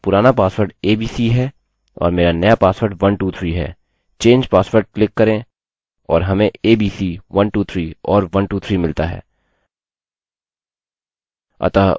अतः मेरा पुराना पासवर्ड abc है और मेरा नया पासवर्ड 123 है change password क्लिक करें और हमें abc 123 और 123 मिलता है